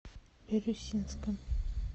бирюсинском